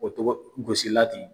O tɔgɔ gosi lati